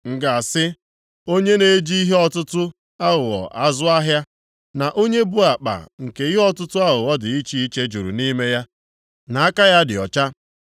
M ga-asị onye na-eji ihe ọtụtụ aghụghọ azụ ahịa, na onye bu akpa nke ihe ọtụtụ aghụghọ dị iche iche juru nʼime ya na aka ya dị ọcha?